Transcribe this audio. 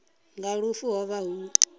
nga lufu ho vha hu